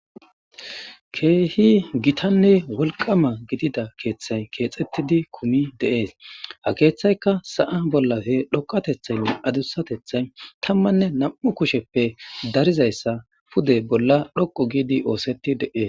Keehi gitanne wolqama gidida keeththay keexettidi kumi de'es. Ha keeththaykka sa'a bollappe dhoqqateththaynne adussateththay tammanne nami'u kushe darizayssa pude bolla dhqqu giidi oosetti de'es.